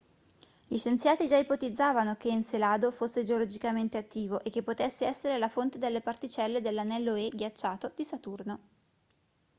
gli scienziati già ipotizzavano che encelado fosse geologicamente attivo e che potesse essere la fonte delle particelle dell'anello e ghiacciato di saturno